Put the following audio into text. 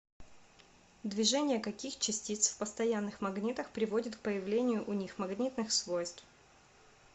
движение каких частиц в постоянных магнитах приводит к появлению у них магнитных свойств